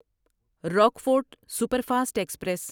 Rockfort superfast express